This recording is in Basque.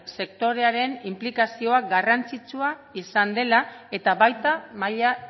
sektorearen inplikazioa garrantzitsua izan dela eta baita maila